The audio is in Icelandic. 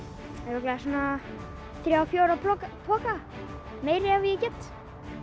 örugglega svona þrír til fjórir poka poka meira ef ég get